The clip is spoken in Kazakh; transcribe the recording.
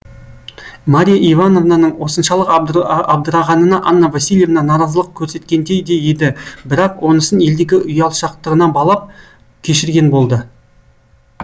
марья ивановнаның осыншалық абдырағанына анна васильевна наразылық көрсеткендей де еді бірақ онысын елдегі ұялшақтығына балап кешірген болды